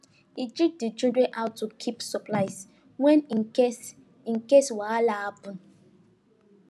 he teach the children how to keep supplies well in case in case wahala happen